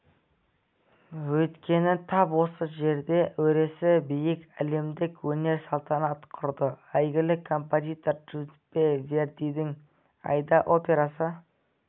өйткені тап осы жерде өресі биік әлемдік өнер салтанат құрды әйгілі композитор джузеппе вердидің аида операсы